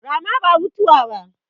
Rama ba mutuwa ba